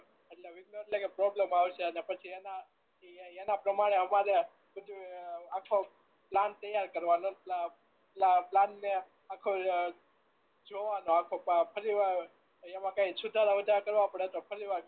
એટલે વિધ્નો એટલે કે પ્રોબ્લમો આવશે અને પછી એના ઈ એના પ્રમાણે અમારે બધું આખો પ્લાન તૈયાર કરવાનો પ્લાન ને આખો જોવાનો આખો ફરીવાર એમાં કાંઈ સુત્રો ઓછા કરવા પડે તો ફરીવાર